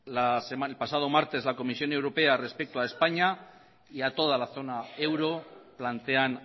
el pasado martes la comisión europea respecto a españa y a toda la zona euro plantean